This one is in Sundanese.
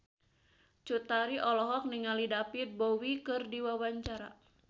Cut Tari olohok ningali David Bowie keur diwawancara